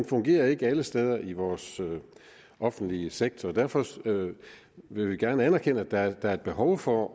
fungerer alle steder i vores offentlige sektor derfor vil vi gerne anerkende at der er et behov for